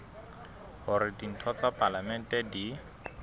hore ditho tsa palamente di